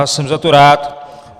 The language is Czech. A jsem za to rád.